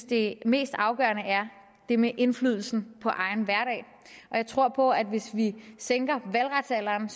det mest afgørende er det med indflydelsen på egen hverdag og jeg tror på at hvis vi sænker valgretsalderen